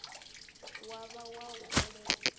wa vha wa u bveledza